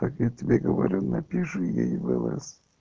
я тебе говорю напиши ей в лс